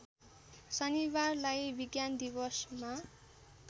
शनिबारलाई विज्ञान दिवसमा